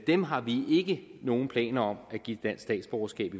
dem har vi ikke nogen planer om at give dansk statsborgerskab